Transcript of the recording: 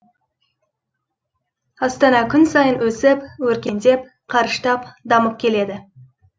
астана күн сайын өсіп өркендеп қарыштап дамып келеді